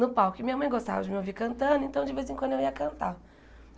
no palco, e minha mãe gostava de me ouvir cantando, então de vez em quando eu ia cantar.